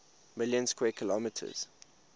million square kilometers